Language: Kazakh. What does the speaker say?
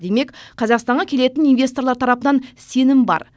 демек қазақстанға келетін инвесторлар тарапынан сенім бар